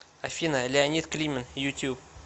афина леонид климин ютюб